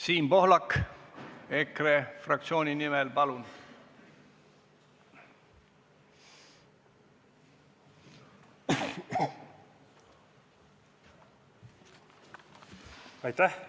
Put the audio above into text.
Siim Pohlak EKRE fraktsiooni nimel, palun!